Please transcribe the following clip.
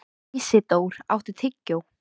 Ísidór, áttu tyggjó?